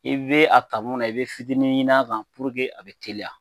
E be a ka mu na e be fitinin ɲin'a kan pururke a be teliya